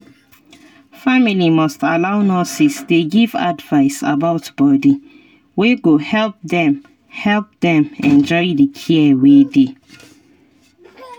family must allow nurses dey give advice about body wey go help dem help dem enjoy the care wey dey.